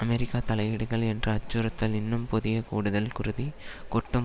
அமெரிக்க தலையீடுகள் என்ற அச்சுறுத்தல் இன்னும் புதிய கூடுதல் குருதி கொட்டும்